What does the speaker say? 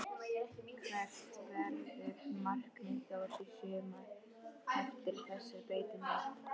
Hvert verður markmið Þórs í sumar eftir þessar breytingar?